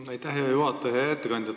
Hea ettekandja!